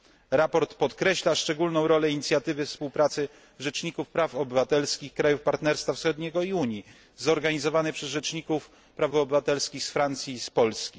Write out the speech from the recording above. Sprawozdanie podkreśla szczególną rolę inicjatywy współpracy rzeczników praw obywatelskich krajów Partnerstwa Wschodniego i Unii zorganizowanej przez rzeczników praw obywatelskich z Francji i z Polski.